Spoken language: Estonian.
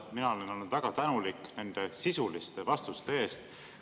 Mina olen olnud väga tänulik nende sisuliste vastuste eest.